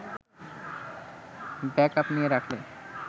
backup নিয়ে রাখলে